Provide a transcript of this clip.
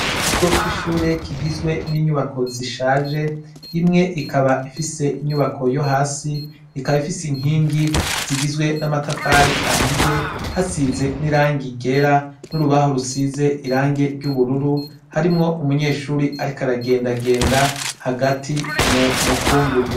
Ikigo c' ishure kigizwe n' inyubako zishaje imwe ikaba ifise inyubako yo hasi ikaba ifise inkingi zigizwe n' amatafari ahiye hasize n' irangi ryera n' urubaho rusize irangi ry' ubururu harimwo umunyeshure ariko aragenda genda hagati mumukungugu.